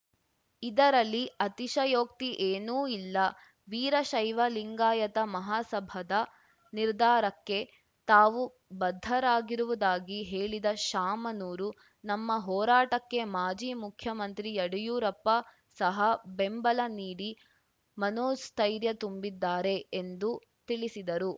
ಇದರಲ್ಲಿ ಅತಿಶಯೋಕ್ತಿ ಏನೂ ಇಲ್ಲ ವೀರಶೈವಲಿಂಗಾಯತ ಮಹಾಸಭಾದ ನಿರ್ಧಾರಕ್ಕೆ ತಾವು ಬದ್ಧರಾಗಿರುವುದಾಗಿ ಹೇಳಿದ ಶಾಮನೂರು ನಮ್ಮ ಹೋರಾಟಕ್ಕೆ ಮಾಜಿ ಮುಖ್ಯಮಂತ್ರಿ ಯಡಿಯೂರಪ್ಪ ಸಹಾ ಬೆಂಬಲ ನೀಡಿ ಮನೋಸ್ಥೈರ್ಯ ತುಂಬಿದ್ದಾರೆ ಎಂದು ತಿಳಿಸಿದರು